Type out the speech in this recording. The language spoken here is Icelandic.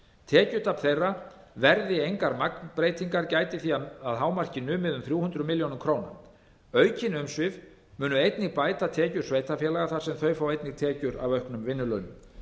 tekjutap þeirra verði engar magnbreytingar gæti því hámarki orðið um þrjú hundruð milljóna króna aukin umsvif munu einnig bæta tekjur sveitarfélaga þar sem þau fá einnig tekjur af auknum vinnulaunum